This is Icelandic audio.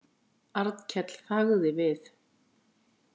Arnkell þagði við.